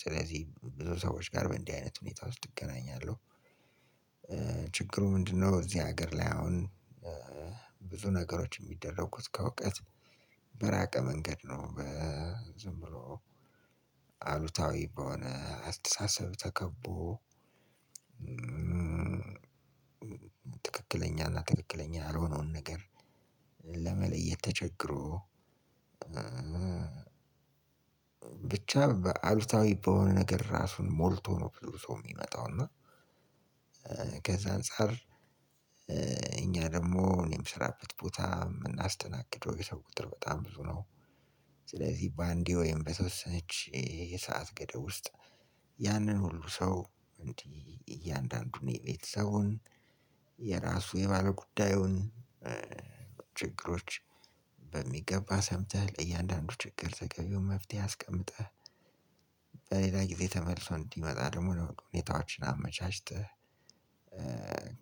ስለዚህ ብዙ ሰዎች ጋር በእንዲህ አይነት ሁኔታ ውስጥ እገናኛለሁ። ችግሩ ምንድነው እዚህ አገር ላይ አሁን ብዙ ነገሮች የሚደረጉት ከእውቀት በራቀ መንገድ ነው። በ አሉታዊ በሆነ አስተሳሰብ ተከቦ ትክክለኛና ትክክለኛ ያልሆነውን ነገር ለመለየት ተቸግሮ ብቻ በአሉታዊ በሆነ ነገር ራሱን ሞልቶ ነው ብዙ ሰው የሚመጣው። እና ከዛ አንፃር እኛ ደግሞ እኔ የምሰራበት ቦታ የምናስተናግደው የሰው ቁጥር በጣም ብዙ ነው ስለዚህ ባንዴ ወይም በተወሰነች የሰዓት ገደብ ውስጥ ያንን ሁሉ ሰው እንግዲህ እያንዳንዱን የቤተሰቡን የራሱ የባለጉዳዩን ችግሮች በሚገባ ሰምተህ ለእያንዳንዱ ችግር ተገቢውን መፍትሄ አስቀምጠህ በሌላ ጊዜ ተመልሶ እንዲመጣ ደግሞ ነው ሁኔታዎችን አመቻችተህ